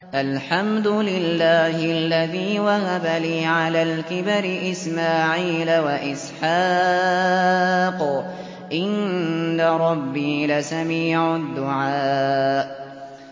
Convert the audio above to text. الْحَمْدُ لِلَّهِ الَّذِي وَهَبَ لِي عَلَى الْكِبَرِ إِسْمَاعِيلَ وَإِسْحَاقَ ۚ إِنَّ رَبِّي لَسَمِيعُ الدُّعَاءِ